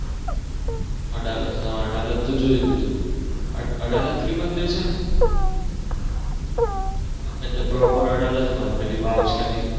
અડાલજ હા અડાલજ જોયું તું અડાલજ ત્રિમંદિર છે એટલે Proper અડાલજમાં પેલી વાવ છે નહિ